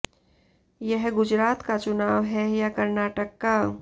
यह गुजरात का चुनाव है या कर्नाटक का